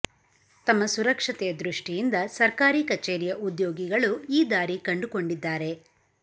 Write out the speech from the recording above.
ತಮ್ಮ ಸುರಕ್ಷತೆಯ ದೃಷ್ಟಿಯಿಂದ ಸರ್ಕಾರಿ ಕಚೇರಿಯ ಉದ್ಯೋಗಿಗಳು ಈ ದಾರಿ ಕಂಡುಕೊಂಡಿದ್ದಾರೆ